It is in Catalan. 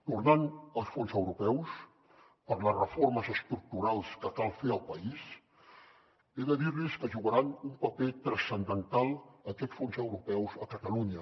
tornant als fons europeus per a les reformes estructurals que cal fer al país he de dir los que jugaran un paper transcendental aquests fons europeus a catalunya